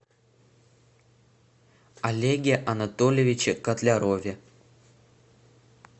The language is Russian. олеге анатольевиче котлярове